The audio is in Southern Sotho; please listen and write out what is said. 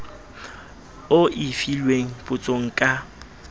o e filweng potsong ka